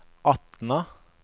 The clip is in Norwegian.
Atna